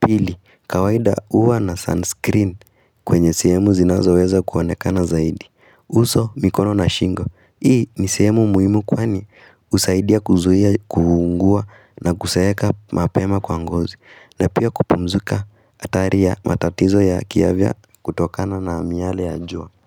Pili kawaida huwa na sunscreen kwenye sehemu zinazoweza kuonekana zaidi uso mikono na shingo Hii ni sehemu muhimu kwani husaidia kuzuia kuungua na kuzeeka mapema kwa ngozi na pia kupunguza hatari ya matatizo ya kiafya kutokana na miyale ya jua.